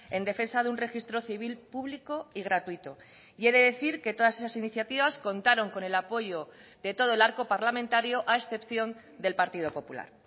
en defensa de un registro civil público y gratuito y he de decir que todas esas iniciativas contaron con el apoyo de todo el arco parlamentario a excepción del partido popular